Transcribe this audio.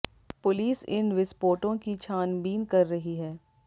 police इन विस्पोटों की छान बीन कर रही है